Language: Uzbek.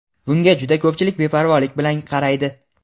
bunga juda ko‘pchilik beparvolik bilan qaraydi.